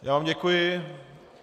Já vám děkuji.